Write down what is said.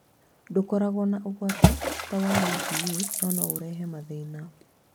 Ndũkoragwo na ũgwati ta wa UVA, no no ũrehe mathĩna